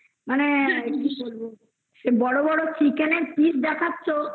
মানে কি বলবো বড়ো বড়ো Chicken এর piece দেখেছো